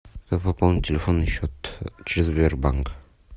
пополнить телефонный счет через сбербанк